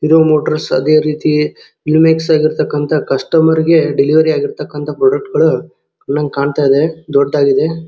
ಇದು ನ್ಯೂಟ್ರಸ್ ಅದೇ ರೀತಿ ಲುನೆಕ್ಸ್ ಆಗಿರ್ತಕಂತ ಕಸ್ಟಮರ್ ಗೆ ಡೆಲವರಿ ಆಗಿರ್ತಕಂತ ಪ್ರೊಡಕ್ಟ್ ಗಳು ನಂಗೆ ಕಾಣತ್ತಾ ಇದೆ ದೊಡ್ಡದಾಗಿದೆ.